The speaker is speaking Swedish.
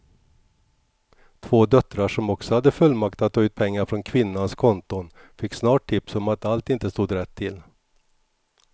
Två döttrar som också hade fullmakt att ta ut pengar från kvinnans konton fick snart tips om att allt inte stod rätt till.